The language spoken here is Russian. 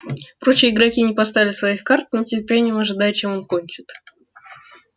прочие игроки не поставили своих карт с нетерпением ожидая чем он кончит